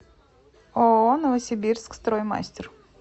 ооо новосибирск строймастер